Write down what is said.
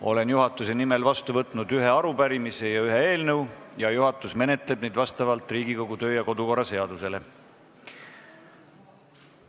Olen juhatuse nimel vastu võtnud ühe arupärimise ja ühe eelnõu, juhatus menetleb neid vastavalt Riigikogu kodu- ja töökorra seadusele.